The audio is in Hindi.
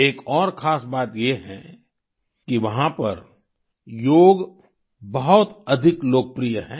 एक और खास बात ये है कि वहाँ पर योग बहुत अधिक लोकप्रिय है